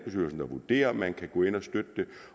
vurderer om man kan gå ind og støtte det